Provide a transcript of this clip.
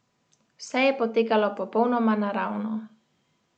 Vse je potekalo popolnoma naravno.